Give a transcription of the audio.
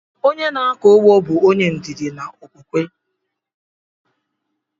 Onye na-akọ ụgbọ bụ onye ndidi na okwukwe